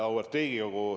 Auväärt Riigikogu!